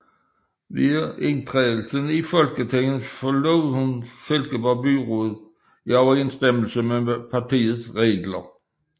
Ved indtrædelsen i Folketinget forlod hun Silkeborg Byråd i overensstemmelse med partiets regler